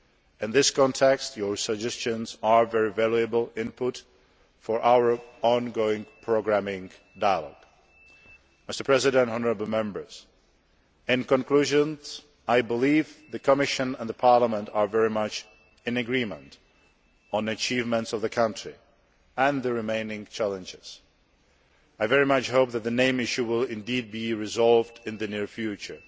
In this context, your suggestions are very valuable input for our ongoing programming dialogue. In conclusion, I believe the Commission and Parliament are very much in agreement on the achievements of the country, and the remaining challenges. I very much hope that the name issue will indeed be resolved in the near